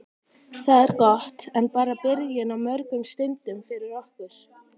Það er gott en bara byrjun á mörgum stundum fyrir okkur.